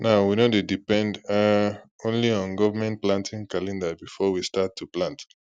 now we no dey depend um only on government planting calendar before we start to plant